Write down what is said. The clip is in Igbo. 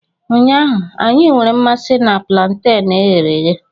Ụnyaahụ, anyị nwere mmasị na plantenu e ghere eghe.